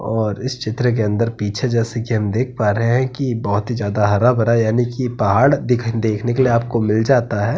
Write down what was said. और इस चित्र के अंदर पीछे जैसे की हम देख पा रहें है की बोहोत ही ज्यादा हरा-भरा यानि की पहाड़ देख-देखने के लिए आपको मिल जाता है।